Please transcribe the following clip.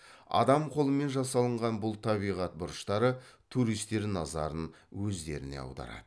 адам қолымен жасалынған бұл табиғат бұрыштары туристер назарын өзіне аударады